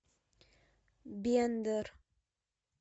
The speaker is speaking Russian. бендер